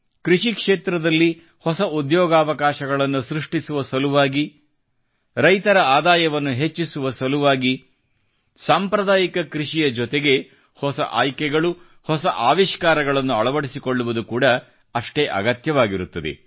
ಕೃಷಿ ಕ್ಷೇತ್ರದಲ್ಲಿ ಹೊಸ ಉದ್ಯೋಗಾವಕಾಶಗಳನ್ನು ಸೃಷ್ಟಿಸುವ ಸಲುವಾಗಿ ರೈತರ ಆದಾಯವನ್ನು ಹೆಚ್ಚಿಸುವ ಸಲುವಾಗಿ ಸಾಂಪ್ರದಾಯಿಕ ಕೃಷಿಯ ಜೊತೆಗೆ ಹೊಸ ಆಯ್ಕೆಗಳು ಹೊಸ ಆವಿಷ್ಕಾರಗಳನ್ನು ಅಳವಡಿಸಿಕೊಳ್ಳುವುದು ಕೂಡಾ ಅಷ್ಟೇ ಅಗತ್ಯವಾಗಿರುತ್ತದೆ